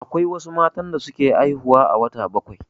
Akwai wasu matan da suke haihuwa a wata bakwai.